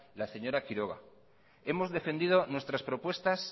la señora quiroga hemos defendido nuestras propuestas